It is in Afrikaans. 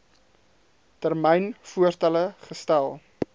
termyn voorstelle gestel